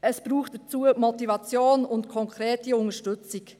Dazu braucht es Motivation und konkrete Unterstützung.